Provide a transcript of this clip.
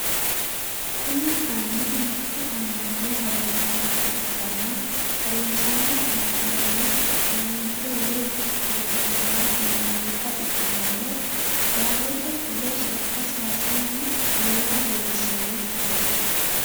kuni anni mitte amma"no harunsaancho ikkanna harunsanno amma"nono pheenxe woye protestantete yinannita ikitanna barete fule sokka sayiisanni noota lelishanno footooti